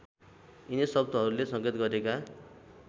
यिनै शब्दहरूले सङ्केत गरेका